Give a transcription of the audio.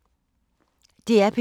DR P2